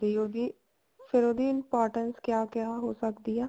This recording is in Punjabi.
ਉਹਦੀ ਫ਼ੇਰ ਉਹਦੀ importance ਕਿਆ ਕਿਆ ਹੋ ਸਕਦੀ ਹੈ